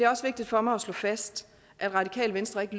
også vigtigt for mig at slå fast at radikale venstre ikke